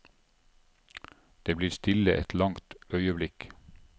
Det blir stille et langt øyeblikk.